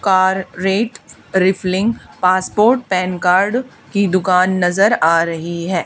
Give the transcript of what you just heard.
Car rate refilling passport pan card की दुकान नजर आ रही है।